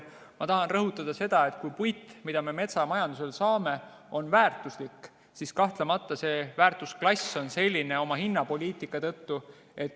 Ma tahan rõhutada, et kui puit, mida me metsamajandamisest saame, on väärtuslik, siis kahtlemata see väärtusklass on selline oma hinnapoliitika tõttu.